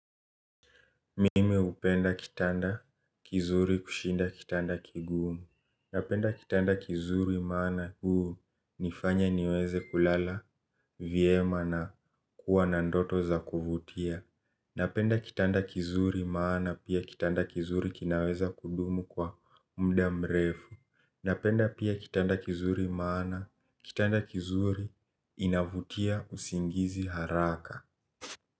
Mimi hupenda kitanda kizuri kushinda kitanda kigumu. Napenda kitanda kizuri maana hunifanya niweze kulala vyema na kuwa na ndoto za kuvutia. Napenda kitanda kizuri maana pia kitanda kizuri kinaweza kudumu kwa muda mrefu. Napenda pia kitanda kizuri maana kitanda kizuri inavutia usingizi haraka.